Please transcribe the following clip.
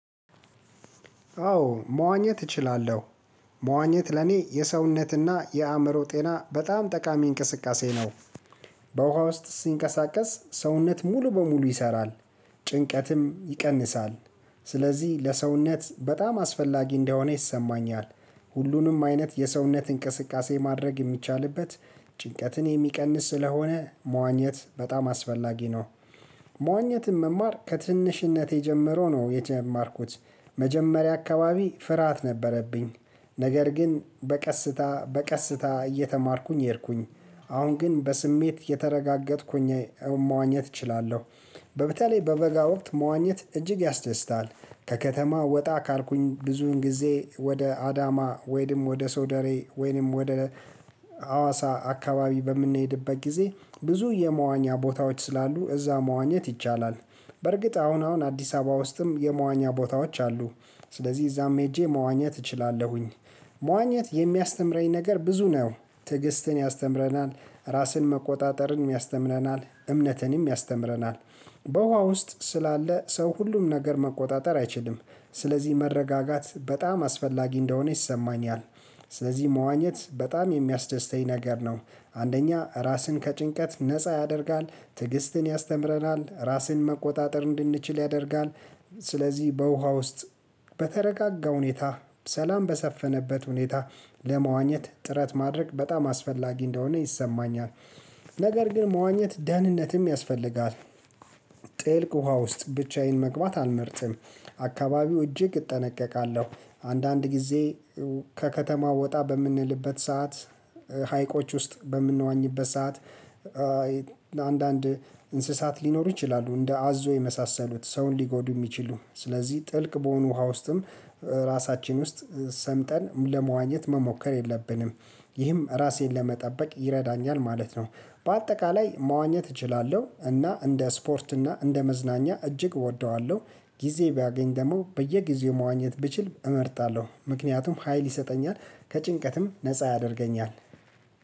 አዎ መዋኘት እችላለሁ። መዋኘት ለኔ የሰውነትና የአእምሮ ጤና በጣም ጠቃሚ እንቅስቃሴ ነው። በውሃ ውስጥ ሲንቀሳቀስ ሰውነት ሙሉ በሙሉ ይሰራል። ጭንቀትም ይቀንሳል። ስለዚህ ለሰውነት በጣም አስፈላጊ እንደሆነ ይሰማኛል። ሁሉንም አይነት የሰውነት እንቅስቃሴ ማድረግ የሚቻልበት ጭንቀትን የሚቀንስ ስለሆነ መዋኘት በጣም አስፈላጊ ነው። መዋኘትን መማር ከትንሽነት የጀመረው ነው የተማርኩት። መጀመሪያ አካባቢ ፍርሃት ነበረብኝ፤ ነገር ግን በቀስታ በቀስታ እየተማርኩኝ ሄድኩኝ። አሁን ግን በስሜት የተረጋገጥኩኝ ሆኜ መዋኘት እችላለሁ። በተለይ በበጋ ወቅት መዋኘት እጅግ ያስደስታል። ከከተማ ወጣ ካልኩኝ ብዙውን ጊዜ ወደ አዳማ ወይንም ወደ ሶደሬ ወይንም ወደ ሀዋሳ አካባቢ በምንሄድበት ጊዜ ብዙ የመዋኛ ቦታዎች ስላሉ እዛ መዋኘት ይቻላል። በርግጥ አሁን አሁን አዲስ አበባ ውስጥም የመዋኛ ቦታዎች አሉ። ስለዚህ እዛም ሄጄ መዋኘት እችላለሁኝ። መዋኘት የሚያስተምረኝ ነገር ብዙ ነው። ትዕግስትን ያስተምረናል፣ ራስን መቆጣጠርንም ያስተምረናል፣ እምነትንም ያስተምረናል። በውሃ ውስጥ ስላለ ሰው ሁሉም ነገር መቆጣጠር አይችልም። ስለዚህ መረጋጋት በጣም አስፈላጊ እንደሆነ ይሰማኛል። ስለዚህ መዋኘት በጣም የሚያስደስተኝ ነገር ነው። አንደኛ ራስን ከጭንቀት ነፃ ያደርጋል፣ ትዕግስትን ያስተምረናል፣ ራስን መቆጣጠር እንድንችል ያደርጋል፣ ስለዚህ በውሃ ውስጥ በተረጋጋ ሁኔታ ሰላም በሰፈነበት ሁኔታ ለመዋኘት ጥረት ማድረግ በጣም አስፈላጊ እንደሆነ ይሰማኛል። ነገር ግን መዋኘት ደህንነትም ያስፈልጋል። ጥልቅ ውሃ ውስጥ ብቻዬን መግባት አልመርጥም። አካባቢው እጅግ እጠነቀቃለሁ። አንዳንድ ጊዜ ከከተማው ወጣ በምንልበት ሰዓት፣ ሀይቆች ውስጥ በምንዋኝበት ሰዓት አንዳንድ እንስሳት ሊኖሩ ይችላሉ እንደ አዞ የመሳሰሉት ሰውን ሊጎዱ የሚችሉ። ስለዚህ ጥልቅ በሆኑ ውሃ ውስጥም ራሳችን ውስጥ ሰምጠን ለመዋኘት መሞከር የለብንም። ይህም ራሴን ለመጠበቅ ይረዳኛል ማለት ነው። በአጠቃላይ መዋኘት እችላለሁ፤ እና እንደ ስፖርት እና እንደ መዝናኛ እጅግ እወደዋለሁ። ጊዜ ባገኝ ደግሞ በየጊዜው መዋኘት ብችል እመርጣለሁ። ምክንያቱም ሀይል ይሰጠኛል፣ ከጭንቀትም ነፃ ያደርገኛል።